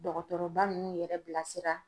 Dɔgɔtɔrɔba ninnu yɛrɛ bilasira.